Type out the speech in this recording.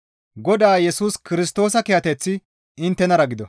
Godaa Yesus Kirstoosa kiyateththi inttenara gido.